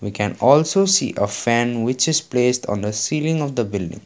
can also see a fan which is placed on the ceiling of the building.